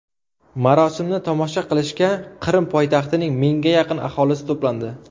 Marosimni tomosha qilishga Qrim poytaxtining mingga yaqin aholisi to‘plandi.